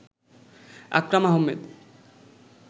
Akram Ahmed